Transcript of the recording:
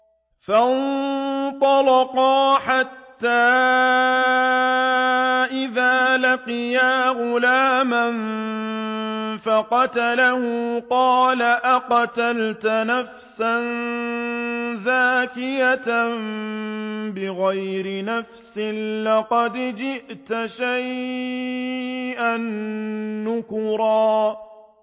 فَانطَلَقَا حَتَّىٰ إِذَا لَقِيَا غُلَامًا فَقَتَلَهُ قَالَ أَقَتَلْتَ نَفْسًا زَكِيَّةً بِغَيْرِ نَفْسٍ لَّقَدْ جِئْتَ شَيْئًا نُّكْرًا